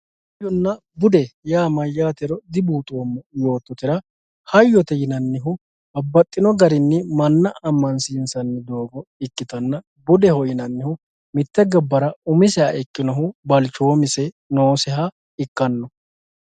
hayyonna bude yaa mayyaatero dibuuxoommo yoottotera hayyote yinannihu babbaxxino garinni manna ammansiinsanno doogo ikkitanna budeho yinannihu mitte gobbara umiseha ikkinohu balchoomise nooseha ikkanno